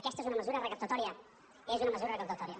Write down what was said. aquesta és una mesura recaptatòria és una mesura recaptatòria